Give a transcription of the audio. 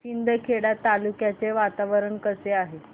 शिंदखेडा तालुक्याचे वातावरण कसे आहे